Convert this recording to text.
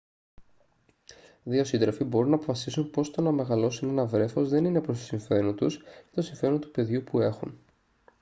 δύο σύντροφοι μπορούν να αποφασίσουν πως το να μεγαλώσουν ένα βρέφος δεν είναι προς το συμφέρον τους ή το συμφέρον του παιδιού που έχουν